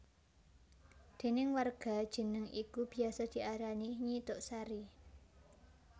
Déning warga jeneng iku biyasa diarani Nyi Tuk Sari